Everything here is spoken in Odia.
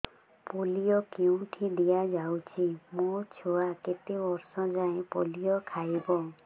ପୋଲିଓ କେଉଁଠି ଦିଆଯାଉଛି ମୋ ଛୁଆ କେତେ ବର୍ଷ ଯାଏଁ ପୋଲିଓ ଖାଇବ